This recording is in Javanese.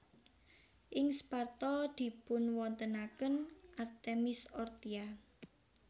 Ing Sparta dipunwontenaken Artemis Orthia